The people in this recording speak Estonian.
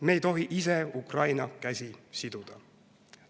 Me ei tohi ise Ukraina käsi siduda.